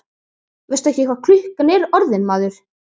Veistu ekki hvað klukkan er orðin, maður?